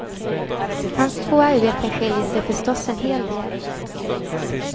Hans två arbeten skiljer sig förstås en hel del.